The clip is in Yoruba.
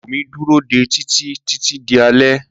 Wùmí dúró dé Títí títí di alé.